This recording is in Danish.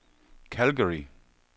Calgary